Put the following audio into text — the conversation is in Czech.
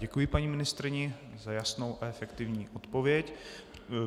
Děkuji paní ministryni za jasnou a efektivní odpověď.